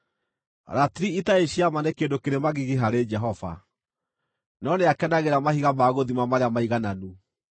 Ratiri itarĩ cia ma nĩ kĩndũ kĩrĩ magigi harĩ Jehova, no nĩakenagĩra mahiga ma gũthima marĩa maigananu.